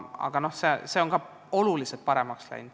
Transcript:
Aga ka see on oluliselt paremaks läinud.